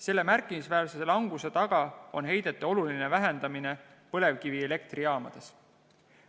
Selle märkimisväärse languse taga on heidete oluline vähendamine põlevkivielektrijaamades.